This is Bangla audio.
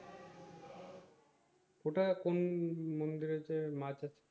ওটা কোন কোন~ মন্দিরে যে মাছ আছে